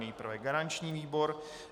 Nejprve garanční výbor.